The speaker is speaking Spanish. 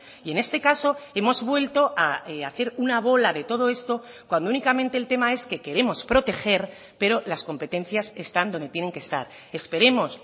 y en este caso hemos vuelto a hacer una bola de todo esto cuando únicamente el tema es que queremos proteger pero las competencias están donde tienen que estar esperemos